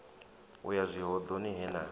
u ya zwihoḓoni he na